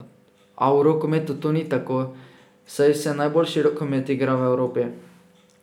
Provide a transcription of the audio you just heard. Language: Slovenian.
A v rokometu to ni tako, saj se najboljši rokomet igra v Evropi.